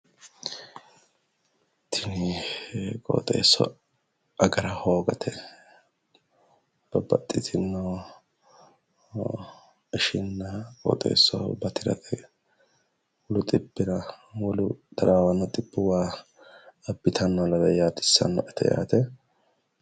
Tini qooxeessa agara hoogate babbaxxitinno ishinna qooxeessaho batirate wolu xibbira wolu taraawanno xibbuwa abbitannoha lawe yaadissanno'ete yaate